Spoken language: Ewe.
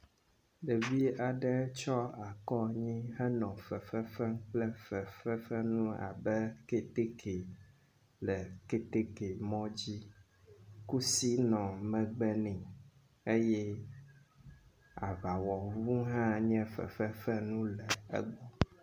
Ɖevi aɖe tsɔ akɔ anyi henɔ fefe fem kple fefefenu abe kɛtɛkɛ le kɛtɛkɛ mɔ dzi. Kusi nɔ megbe nɛ eye aŋawɔnuwo hã nye fefefenu le egbɔ.